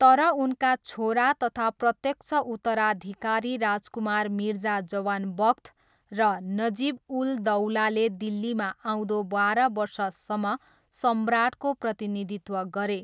तर उनका छोरा तथा प्रत्यक्ष उत्तराधिकारी राजकुमार मिर्जा जवान बख्त र नजिब उल दौलाले दिल्लीमा आउँदो बाह्र वर्षसम्म सम्राटको प्रतिनिधित्व गरे।